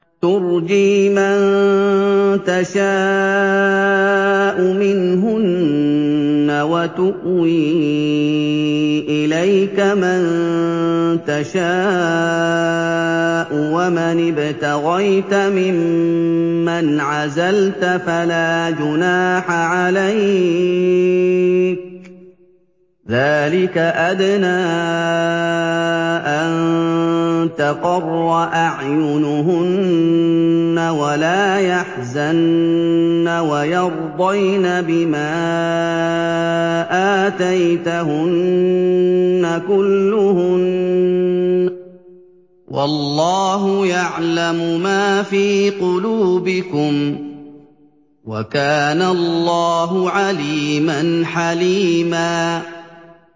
۞ تُرْجِي مَن تَشَاءُ مِنْهُنَّ وَتُؤْوِي إِلَيْكَ مَن تَشَاءُ ۖ وَمَنِ ابْتَغَيْتَ مِمَّنْ عَزَلْتَ فَلَا جُنَاحَ عَلَيْكَ ۚ ذَٰلِكَ أَدْنَىٰ أَن تَقَرَّ أَعْيُنُهُنَّ وَلَا يَحْزَنَّ وَيَرْضَيْنَ بِمَا آتَيْتَهُنَّ كُلُّهُنَّ ۚ وَاللَّهُ يَعْلَمُ مَا فِي قُلُوبِكُمْ ۚ وَكَانَ اللَّهُ عَلِيمًا حَلِيمًا